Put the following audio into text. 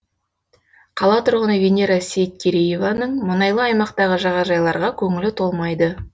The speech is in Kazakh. қала тұрғыны венера сейткерееваның мұнайлы аймақтағы жағажайларға көңілі толмайды